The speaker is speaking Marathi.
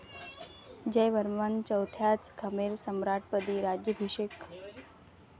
जयवर्मन चौथ्याच खमेर सम्राटपदी राज्याभिषेक.